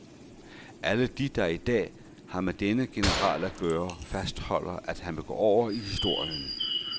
Alle de, der i dag har med denne general at gøre, fastholder, at han vil gå over i historien.